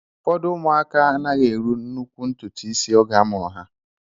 Ụfọdụ ụmụaka anaghị eru nnukwu ntụtụ isi oge a mụrụ ha